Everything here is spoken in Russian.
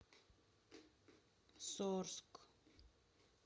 сорск